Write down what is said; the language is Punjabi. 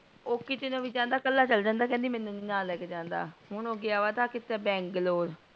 ਓਹ ਕੀਤੀ ਨੂ ਵੀ ਜਾਂਦਾ ਕਲਾ ਚੱਲ ਜਾਂਦਾ ਮੇਨੂ ਨਹੀਂ ਲੈਕੇ ਜਾਂਦਾ ਹੁਣ ਓਹ ਗਯਾ ਵ ਥਾਂ ਕਿੱਥੇ ਬੰਗਲੌਰ।